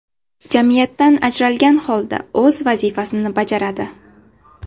Jamiyatdan ajralgan holda o‘z vazifasini bajaradi.